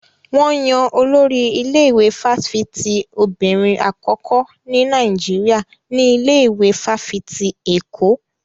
Wọn yan Olórí ilé-ìwé fáfitì obìnrin àkọ́kọ́ ní Nàìjíríà ní ilé ìwé fáfitì Èkó.